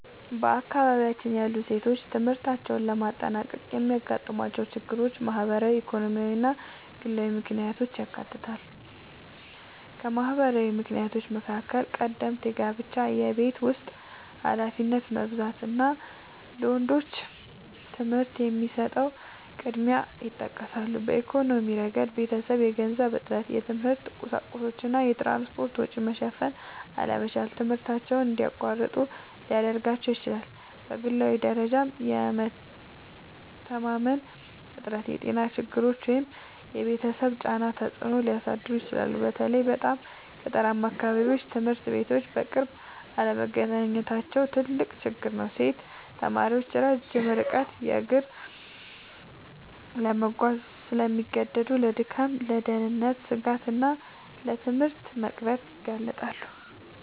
በአካባቢያችን ያሉ ሴቶች ትምህርታቸውን ለማጠናቀቅ የሚያጋጥሟቸው ችግሮች ማህበራዊ፣ ኢኮኖሚያዊ እና ግላዊ ምክንያቶችን ያካትታሉ። ከማህበራዊ ምክንያቶች መካከል ቀደምት ጋብቻ፣ የቤት ውስጥ ኃላፊነት መብዛት እና ለወንዶች ትምህርት የሚሰጠው ቅድሚያ ይጠቀሳሉ። በኢኮኖሚያዊ ረገድ የቤተሰብ የገንዘብ እጥረት፣ የትምህርት ቁሳቁሶች እና የትራንስፖርት ወጪ መሸፈን አለመቻል ትምህርታቸውን እንዲያቋርጡ ሊያደርጋቸው ይችላል። በግላዊ ደረጃም የመተማመን እጥረት፣ የጤና ችግሮች ወይም የቤተሰብ ጫናዎች ተጽዕኖ ሊያሳድሩ ይችላሉ። በተለይ በጣም ገጠራማ አካባቢዎች ትምህርት ቤቶች በቅርብ አለመገኘታቸው ትልቅ ችግር ነው። ሴት ተማሪዎች ረጅም ርቀት በእግር ለመጓዝ ስለሚገደዱ ለድካም፣ ለደህንነት ስጋት እና ለትምህርት መቅረት ይጋለጣሉ